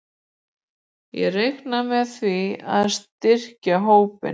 Ég reikna með því að styrkja hópinn.